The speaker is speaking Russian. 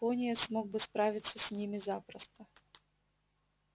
пониетс мог бы справиться с ними запросто